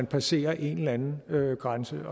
passerer en eller anden grænse